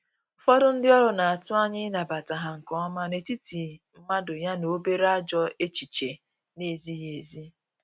ụfọdụ ndi ọrụ n'atụ anya ịnabata ha nke ọma n’etiti mmadụ ya na obere ajọ echiche na ezighi ezi